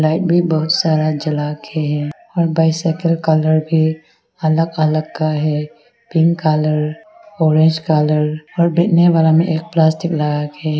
Light भी बहुत सारा जला के हैं और बाइसिकल कलर भी अलग अलग का है पिंक कलर ऑरेंज कलर और बिकने वाला में एक प्लास्टिक लगाके है।